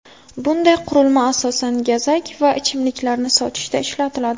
Bunday qurilma asosan gazak va ichimliklarni sotishda ishlatiladi.